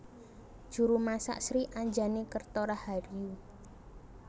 Juru masak Sri Anjani Kerto Rahayu